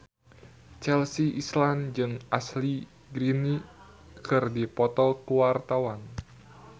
Chelsea Islan jeung Ashley Greene keur dipoto ku wartawan